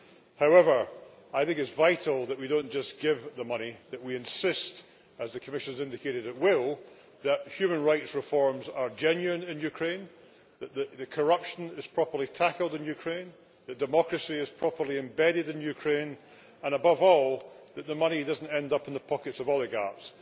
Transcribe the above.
However, I think it is vital that we do not just give the money, but that we insist, as the Commission has indicated it will, that human rights reforms are genuine in Ukraine, that corruption is properly tackled in Ukraine, that democracy is properly embedded in Ukraine and, above all, that the money does not end up in the pockets of oligarchs.